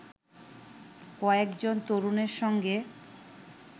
কয়েকজন তরুণের সঙ্গে